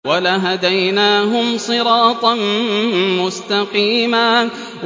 وَلَهَدَيْنَاهُمْ صِرَاطًا مُّسْتَقِيمًا